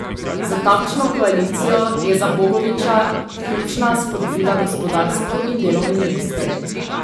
Za takšno koalicijo je za Bogoviča ključna spodbuda gospodarstvu in delovnim mestom.